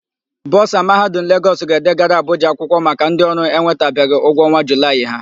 Bọsa Mahadum Legọs. ga-edegara Abụja akwụkwọ maka ndịọrụ enwetabeghị ụgwọ ọnwa Julaị ha.